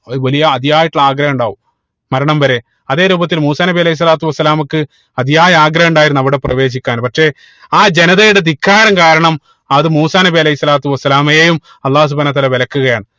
ഒരു വലിയ അതിയായിട്ടുള്ള ആഗ്രഹം ഉണ്ടാവും മരണം വരെ അതേ രൂപത്തിൽ മൂസാ നബി അലൈഹി സ്വലാത്തു വസ്സലാമക്ക് അതിയായ ആഗ്രഹം ഉണ്ടായിരുന്നു അവിടെ പ്രവേശിക്കാൻ പക്ഷേ ആ ജനതയുടെ ധിക്കാരം കാരണം അത് മൂസാ നബി അലൈഹി സ്വലാത്തു വസ്സലാമയെയും അള്ളാഹു സുബ്‌ഹാനഉ വതാല വിലക്കുകയാണ്